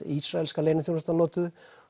ísraelska leyniþjónustan notuðu